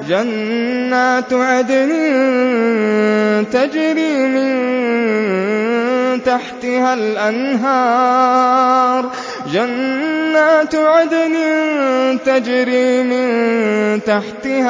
جَنَّاتُ عَدْنٍ تَجْرِي مِن تَحْتِهَا